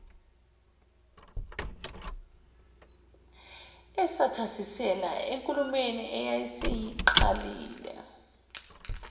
esethasisela enkulumeni ayeseyiqalile